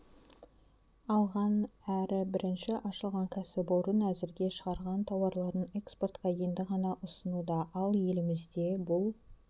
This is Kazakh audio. алған әрі бірінші ашылған кәсіпорын әзірге шығарған тауарларын экспортқа енді ғана ұсынуда ал елімізде бұл